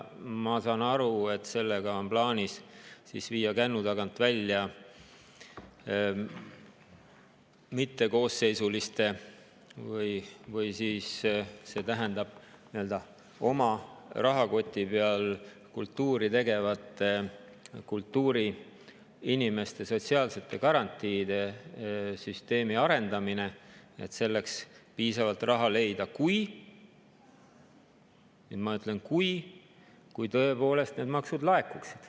Ma saan aru, et sellega on plaanis viia kännu tagant välja mittekoosseisuliste või siis nii-öelda oma rahakoti peal kultuuri tegevate kultuuriinimeste sotsiaalsete garantiide süsteemi arendamine, selleks piisavalt raha leida, kui – ja nüüd ma ütlen "kui" – tõepoolest need maksud laekuksid.